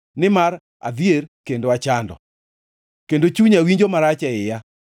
Nimar adhier kendo achando, kendo chunya winjo marach e iya.